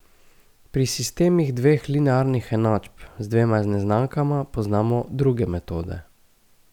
Pri sistemih dveh linearnih enačb z dvema neznankama poznamo druge metode.